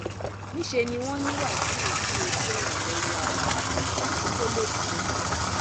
níṣẹ ni wọn ní wàsíù dí ojú ọnà lọwọ ara ẹ èyí tó lòdì sófin